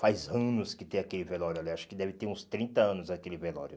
Faz anos que tem aquele velório ali, acho que deve ter uns trinta anos aquele velório.